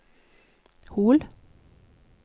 Hol